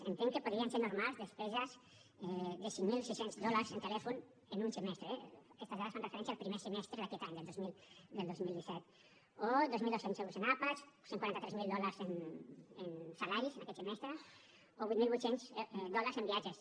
entenc que podrien ser normals despeses de cinc mil sis cents dòlars en telèfon en un semestre eh aquestes dades fan referència al primer semestre d’aquest any del dos mil disset o dos mil dos cents dòlars en àpats cent i quaranta tres mil dòlars en salaris en aquest semestre o vuit mil vuit cents dòlars en viatges